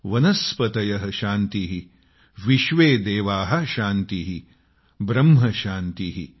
वनस्पतयः शान्तिः विश्वेदेवाः शान्तिः ब्रह्म शान्तिः